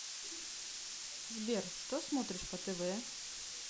сбер что смотришь по тв